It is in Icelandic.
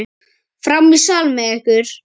Fram í sal með ykkur!